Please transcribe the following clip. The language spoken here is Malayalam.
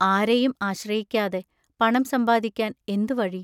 ആരെയും ആശ്രയിക്കാതെ പണം സമ്പാദിക്കാൻ എന്തു വഴി?